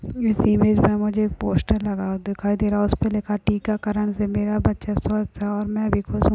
इस इमेज में मुझे एक पोस्टर लगा हुआ दिखाई दे रहा। उस पे लिखा है टीका करण से मेरा बच्चा स्वस्थ है और मैं भी खुश हूँ।